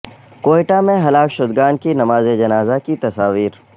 کوئٹہ میں ہلاک شدگان کی نماز جنازہ کی تصاویر